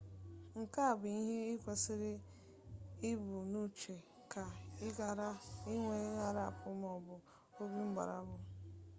nke a bụ ihe ikwesịrị ibu n'uche ka ị ghara inwe ngharịpụ maọbụ obi mgbarụ n'ebe usoro esi eme ihe dị